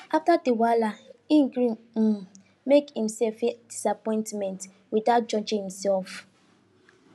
after the wahala he gree um make himself feel disappointment without judging himself